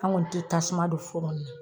An kɔni tɛ tasuma don foro ni na.